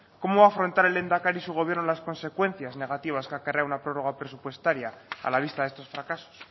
cómo va a afrontar el lehendakari y su gobierno las consecuencias negativas que acarrea una prórroga presupuestaria a la vista de estos fracasos